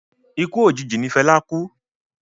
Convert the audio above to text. Ikú òjijì ní Fẹlá kú.